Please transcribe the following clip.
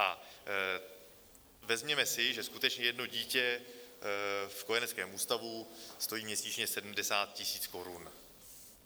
A vezměme si, že skutečně jedno dítě v kojeneckém ústavu stojí měsíčně 70 tisíc korun.